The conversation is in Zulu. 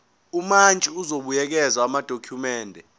umantshi uzobuyekeza amadokhumende